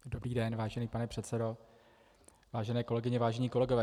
Dobrý den, vážený pane předsedo, vážené kolegyně, vážení kolegové.